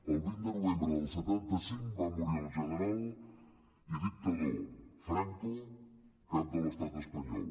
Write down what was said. el vint de novembre del setanta cinc va morir el general i dictador franco cap de l’estat espanyol